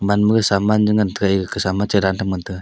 manma jaw ngan taiga ekasa ma chedan ngan taiya.